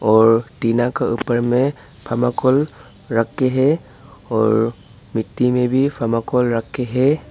और टीना के ऊपर में थर्माकोल रख के हैं और मिट्टी में भी थर्माकोल रख के हैं।